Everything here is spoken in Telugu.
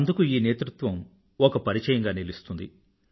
అందుకు ఈ నేతృత్వం ఒక పరిచయంగా నిలుస్తుంది